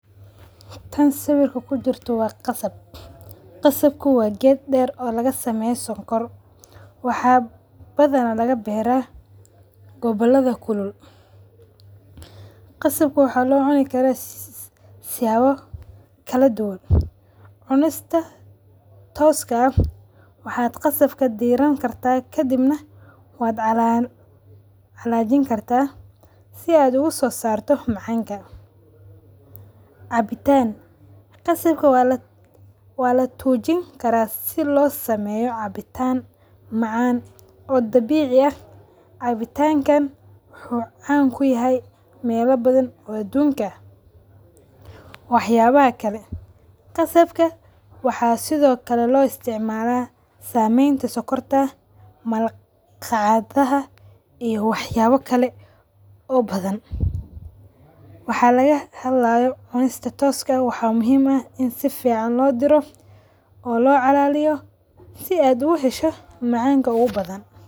Taan sawirka kujirto waa qasab. Qasaabka waa geed deer lagasameyo sonkorta waxa badhana laga beera gobolooda kulul. Qasaab waxa loo cuni karaa siyaabo kaladuwan; cunasta tooska aah waxa qasaabka diraan kartaa kadib na waa calajini kartaa sidha aad uga sosarto macanka, cabitaan qasaab waa latojiin karaa sidhii losameyo cabitaan macaan oo dabici aah. Cabitanka wuxu caan kuyahay meelo badan oo adunka aah. Waxabaha kale, qasabka waxa sidhii kale loo isticmala sameeyn ta sonkorta malgacdaha ee waxayaba kale oo badhan waxa laga hadlayo cunista tooska eeh waxa muhiim eh in saficaan loo diro oo loo calaliyo sidha ad ugahasho macanka uga badhaan.